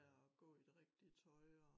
Ja og gå i det rigtige tøj og